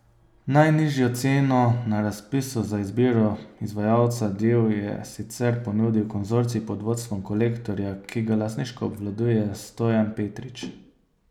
Najnižjo ceno na razpisu za izbiro izvajalca del je sicer ponudil konzorcij pod vodstvom Kolektorja, ki ga lastniško obvladuje Stojan Petrič.